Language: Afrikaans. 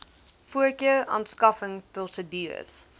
voorkeur aanskaffing prosedures